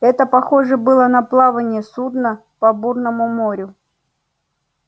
это похоже было на плавание судна по бурному морю